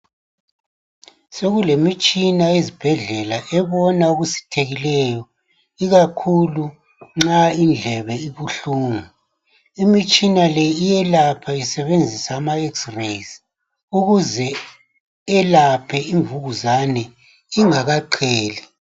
Sokulemitshina ezibhedlela ebona okusithekileyo ikakhulu nxa indlebe ibuhlungu, imitshina le iyelapha isebenzisa ama x-rays ukuze iyelaphe imvukuzane ingakaqheli.